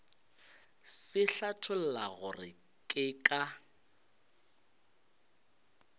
se hlatholla gore ke ka